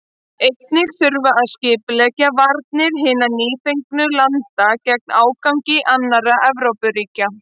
Einnig þurfti að skipuleggja varnir hinna nýfengnu landa gegn ágangi annarra Evrópuríkja.